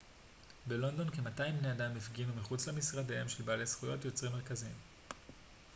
בלונדון כ-200 בני אדם הפגינו מחוץ למשרדיהם של בעלי זכויות יוצרים מרכזיים